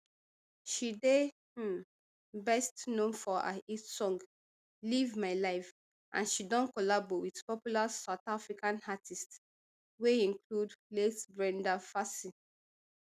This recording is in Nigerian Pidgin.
she dey um best known for her hit song live my life and she don collabo wit popular south african artists wey include late brenda fassie